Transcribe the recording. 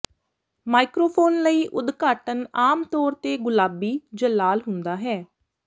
microphone ਲਈ ਉਦਘਾਟਨ ਆਮ ਤੌਰ ਤੇ ਗੁਲਾਬੀ ਜਾਂ ਲਾਲ ਹੁੰਦਾ ਹੈ